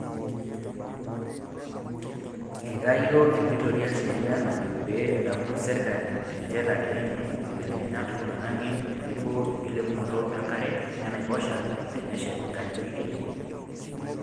Eitayio enkitoria sheria najo pee edamu serkali tenchetare enye nkibelekenyat oloingange tenebo enkilepunoto enkare enaiposha teneshet nkajijik enye.